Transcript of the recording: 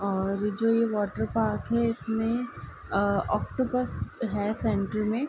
और जो ये वॉटर पार्क है इसमे अ ओक्टोपस है सेंटर मे।